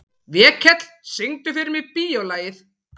Vékell, syngdu fyrir mig „Bíólagið“.